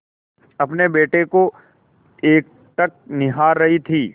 अपने बेटे को एकटक निहार रही थी